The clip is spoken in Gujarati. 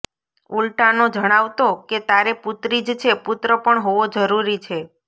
ઉલ્ટાનો જણાવતો કે તારે પુત્રી જ છે પુત્ર પણ હોવો જરૂરી છે